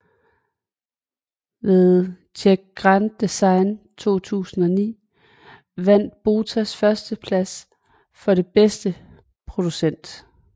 Ved Czech Grand design 2009 vandt Botas førsteplads for den bedste producent